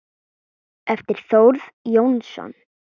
eftir Þórð Jónsson